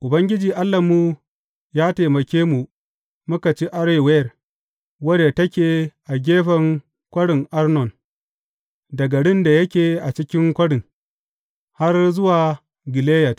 Ubangiji Allahnmu ya taimake mu muka ci Arower wadda take a gefen Kwarin Arnon, da garin da yake a cikin kwarin, har zuwa Gileyad.